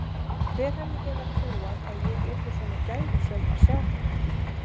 Hver hefði getað trúað að ég yrði svo gæfusöm að sjá þetta.